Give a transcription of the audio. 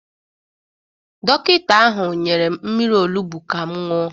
Dọkịta ahụ nyere m mmiri olugbu ka m ṅụọ.